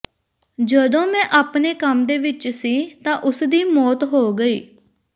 ਜਦੋਂ ਮੈਂ ਆਪਣੇ ਕੰਮ ਦੇ ਵਿਚ ਸੀ ਤਾਂ ਉਸ ਦੀ ਮੌਤ ਹੋ ਗਈ